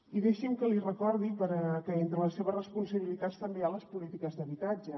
i deixi’m que li recordi que entre les seves responsabilitats també hi ha les polítiques d’habitatge